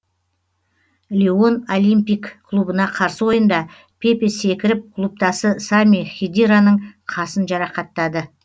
лион олимпик клубына қарсы ойында пепе секіріп клубтасы сами хедираның қасын жарақаттады